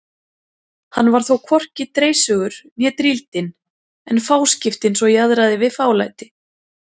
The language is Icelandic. Hann var þó hvorki dreissugur né drýldinn en fáskiptinn svo jaðraði við fálæti.